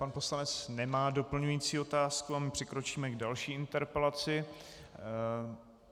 Pan poslanec nemá doplňující otázku a my přikročíme k další interpelaci.